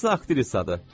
Hansısa aktrisadır.